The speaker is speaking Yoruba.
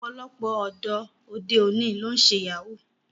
Ọ̀pọ̀lọpọ̀ ọ̀dọ́ òde òní ló ń ṣe Yahoo